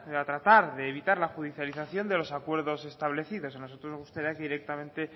y trata de evitar la judicialización de los acuerdos establecidos a nosotros nos gustaría que directamente